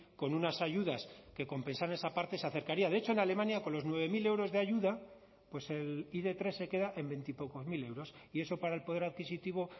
con unas ayudas que compensara a esa parte se acercaría de hecho en alemania con los nueve mil euros de ayuda el i de tres se queda en veintipocos mil euros y eso para el poder adquisitivo